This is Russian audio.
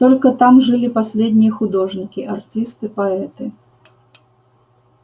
только там жили последние художники артисты поэты